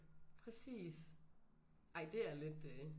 Præcis ej det er lidt øh